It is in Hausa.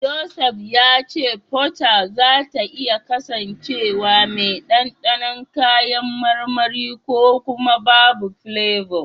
Joseph ya ce Fota zata iya kasancewa mai dandanon kayan marmari ko kuma babu filebo.